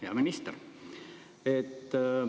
Hea minister!